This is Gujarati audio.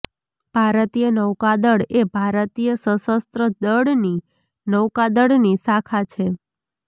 ભારતીય નૌકાદળ એ ભારતીય સશસ્ત્ર દળની નૌકાદળની શાખા છે